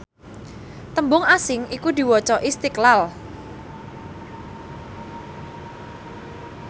tembung asing iku diwaca Istiqlal